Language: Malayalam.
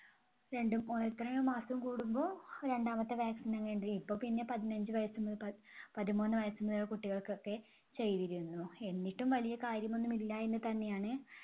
രണ്ടും ഓ എത്രയോ മാസം കൂടുമ്പോ രണ്ടാമത്തെ vaccine . ഇപ്പൊ പിന്നെ പതിനഞ്ച് വയസ്സു മുതൽ പ~പതിമൂന്ന് വയസ്സ് കുട്ടികൾക്കൊക്കെ ചെയ്‌തിരുന്നു. എന്നിട്ടും വലിയ കാര്യമൊന്നുമില്ല എന്നുതന്നെയാണ്